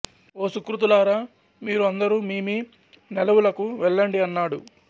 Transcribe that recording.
ఓ సుకృతులారా మీరు అందరూ మీ మీ నెలవులకు వెళ్ళండి అన్నాడు